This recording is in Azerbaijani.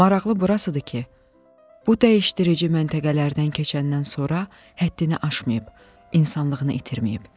Maraqlı burasıdır ki, bu dəyişdirici məntəqələrdən keçəndən sonra həddini aşmayıb, insanlığını itirməyib.